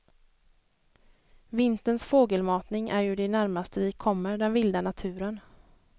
Vinterns fågelmatning är ju det närmaste vi kommer den vilda naturen.